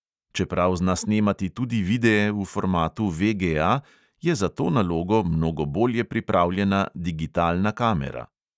Čeprav zna snemati tudi videe v formatu VGA, je za to nalogo mnogo bolje pripravljena digitalna kamera.